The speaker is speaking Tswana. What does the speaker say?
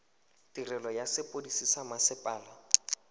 tirelo ya sepodisi sa mmasepala